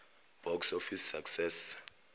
box office success